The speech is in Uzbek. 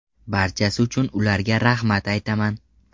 Barchasi uchun ularga rahmat aytaman.